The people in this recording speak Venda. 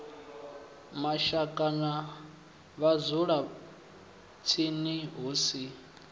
mashaka na vhadzulatsini hu si